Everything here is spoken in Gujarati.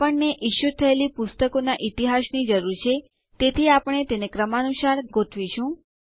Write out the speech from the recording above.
આપણને ઇસ્યું થયેલી પુસ્તકોનાં ઈતિહાસની જરૂર છે તેથી આપણે તેને કાળક્રમાનુંસાર ગોઠવીશું